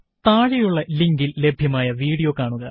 താഴെയുള്ള ലിങ്കില് ലഭ്യമായ വീഡിയോ കാണുക